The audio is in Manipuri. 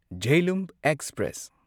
ꯓꯦꯂꯨꯝ ꯑꯦꯛꯁꯄ꯭ꯔꯦꯁ